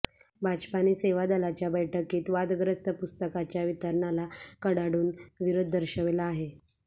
भाजपाने सेवा दलाच्या बैठकीत वादग्रस्त पुस्तकाच्या वितरणाला कडाडून विरोध दर्शविला आहे